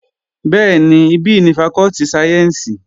Bẹ́ẹ̀ni, ibí ni fakọ́tì sáyẹ́ǹsì